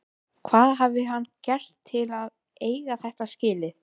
Hvað hafði hann gert til að eiga þetta skilið?